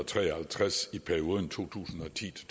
tre og halvtreds i perioden to tusind og ti til